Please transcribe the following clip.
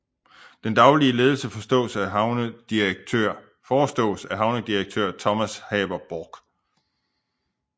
Den daglige ledelse forestås af havnedirektør Thomas Haber Borch